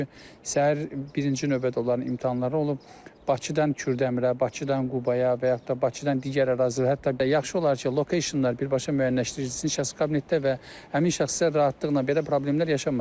Çünki səhər birinci növbədə onların imtahanları olub, Bakıdan Kürdəmirə, Bakıdan Qubaya və yaxud da Bakıdan digər ərazilər, hətta yaxşı olar ki, locationlar birbaşa müəyyənləşdirilsin şəxsi kabinetdə və həmin şəxslərə rahatlıqla belə problemlər yaşanmasın.